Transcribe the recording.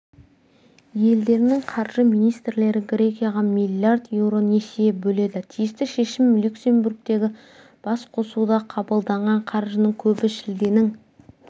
елдерінің қаржы министрлері грекияға миллиард еуро несие бөледі тиісті шешім люксембургтегі басқосуда қабылданған қаржының көбі шілденің